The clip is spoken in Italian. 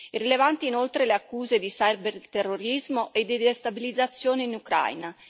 Rilevanti, inoltre, le accuse ciberterrorismo e di destabilizzazione in Ucraina.